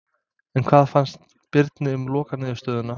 En hvað fannst Birni um lokaniðurstöðuna?